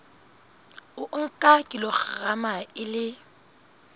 o nka kilograma e le